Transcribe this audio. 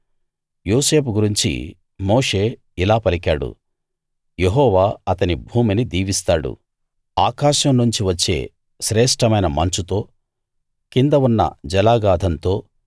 యోసేపు గురించి మోషే ఇలా పలికాడు యెహోవా అతని భూమిని దీవిస్తాడు ఆకాశం నుంచి వచ్చే శ్రేష్ఠమైన మంచుతో కింద ఉన్న జలాగాధంతో